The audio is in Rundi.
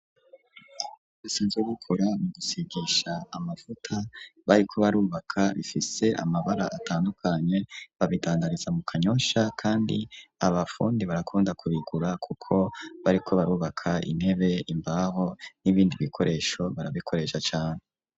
Inzu zo gukora mu gusigisha amavuta bariko barubaka bifise amabara atandukanye, babidangariza mu kanyosha kandi abafundi barakunda kubigura kuko bariko barubaka intebe, imbaho, n'ibindi bikoresho barabikoresha cane.